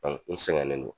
n sɛgɛnnen don